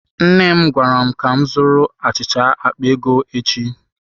Nne m gwara m ka m zụrụ achịcha akpa ego echi.